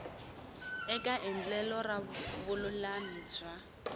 eka endlelo ra vululami bya